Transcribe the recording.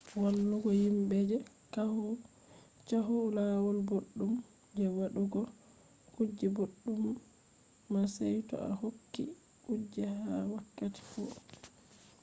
wallugo yimbe je caahu lawol boɗɗum je waɗugo kuje boɗɗum na sey to a hokki kuje ha wakkati fu